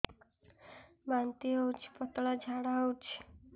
ବାନ୍ତି ହଉଚି ପତଳା ଝାଡା ହଉଚି